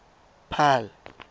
paarl